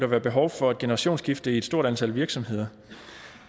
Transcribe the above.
være behov for et generationsskifte i et stort antal virksomheder